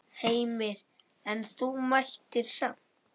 Heimir: En þú mættir samt?